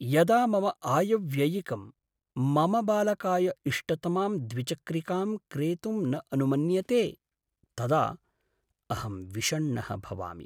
यदा मम आयव्ययिकं, मम बालकाय इष्टतमां द्विचक्रिकां क्रेतुं न अनुमन्यते तदा अहं विषण्णः भवामि।